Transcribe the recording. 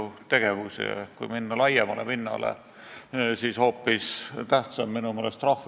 Arvan, et selle arutelu sisu ja toon kajastab Riigikogu liikmete ja erakondade ja üldse Eesti poliitilise eliidi valmisolekut selle teemaga tegeleda väga hästi.